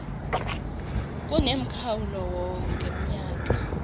kunemkhawulo war ngemnyaka